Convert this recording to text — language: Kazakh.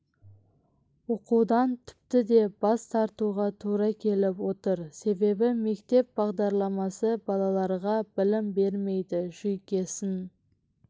оқудан тіпті де бас тартуға тура келіп отыр себебі мектеп бағдарламасы балаларға білім бермейді жүйкесін